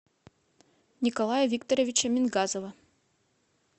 николая викторовича мингазова